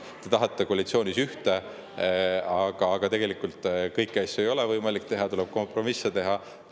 Te tahate, aga koalitsioonis kõiki asju ei ole võimalik teha, tuleb kompromisse teha.